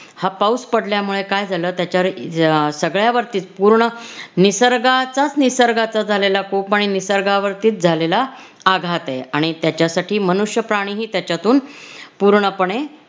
हा पाऊस पडल्यामुळे काय झालं त्याच्यावर सगळ्यावरतीच पूर्ण निसर्गाचाच निसर्गाचा झालेला कोप आणि निसर्गावरती झालेला आघात आहे आणि त्याच्यासाठी मनुष्यप्राणीही त्याच्यातून पूर्णपणे